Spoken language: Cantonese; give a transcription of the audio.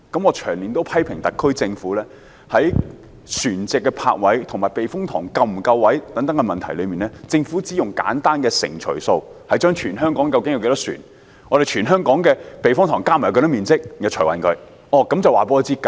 我長年批評特區政府，在船隻泊位及避風塘泊位是否足夠等問題上，只用簡單的算術作計算，即將全港船隻的總數除以全港避風塘的總面積，得出一個平均數後便說足夠。